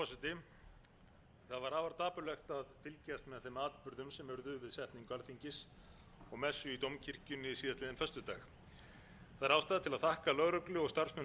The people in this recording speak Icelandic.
urðu við setningu alþingis og messu í dómkirkjunni síðastliðinn föstudag það er ástæða til að þakka lögreglu og starfsmönnum